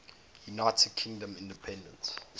united kingdom independence